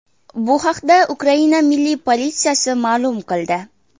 Bu haqda Ukraina milliy politsiyasi ma’lum qildi .